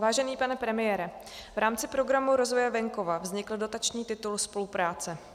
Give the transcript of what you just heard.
Vážený pane premiére, v rámci Programu rozvoje venkova vznikl dotační titul spolupráce.